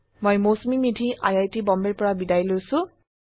মই Mousumi Medhi I I T বম্বেৰ পৰা বিদায় লৈছো